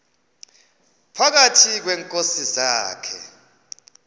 phakathi kweenkosi zakhe